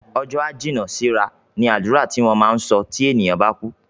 "Ọjọ́ á jìnnà sí ra" ni àdúrà tí wọ́n máa ń sọ tí ènìyàn bá kú